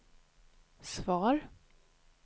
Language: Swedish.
svar